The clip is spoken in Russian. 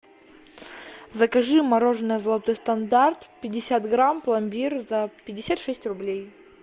закажи мороженое золотой стандарт пятьдесят грамм пломбир за пятьдесят шесть рублей